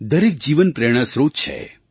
દરેક જીવન પ્રેરણાસ્રોત છે